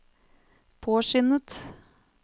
påskyndet